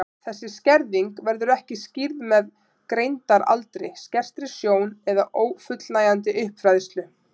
Þessi skerðing verður ekki skýrð með greindaraldri, skertri sjón eða ófullnægjandi uppfræðslu.